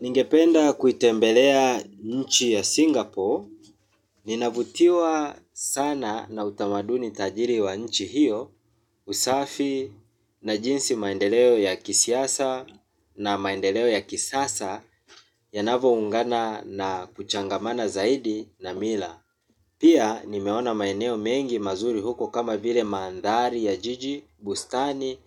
Ningependa kuitembelea nchi ya Singapore. Ninavutiwa sana na utamaduni tajiri wa nchi hiyo. Usafi na jinsi maendeleo ya kisasa na maendeleo ya kisasa yanavyoungana na kuchangamana zaidi na mila. Pia nimeona maeneo mengi mazuri huko, kama vile mandhari ya jiji, bustani,